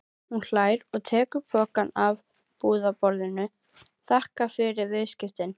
Hún hlær og tekur pokann af búðarborðinu, þakkar fyrir viðskiptin.